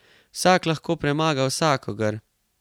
Vsak lahko premaga vsakogar.